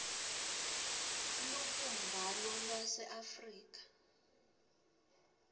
elubumbano lwase afrika